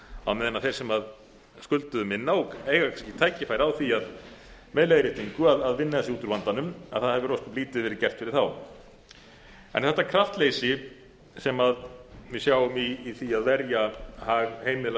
á meðan þeir sem skulduðu minna og eiga kannski tækifæri á því með leiðréttingu að vinna sig út úr vandanum að það hefur ósköp lítið verið gert fyrir þá þetta kraftleysi sem við sjáum í því að verja hag heimila